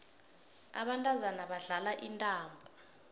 abantazana badlala intambo